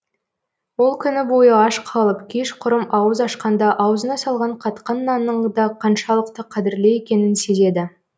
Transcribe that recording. ол күні бойы аш қалып кешқұрым ауыз ашқанда аузына салған қатқан нанның да қаншалықты қадірлі екенін сезеді